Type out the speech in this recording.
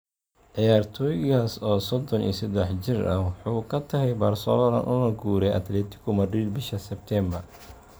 Ciyaartoygaas, oo sodon iyo sadex jir ah, wuxuu ka tagay Barcelona una guuray Atletico Madrid bisha Sebtembar.